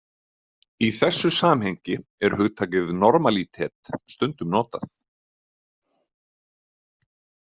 Í þessu samhengi er hugtakið normalítet stundum notað.